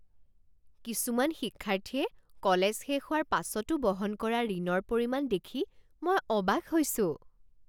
কিছুমান শিক্ষাৰ্থীয়ে কলেজ শেষ হোৱাৰ পাছতো বহন কৰা ঋণৰ পৰিমাণ দেখি মই অবাক হৈছোঁ।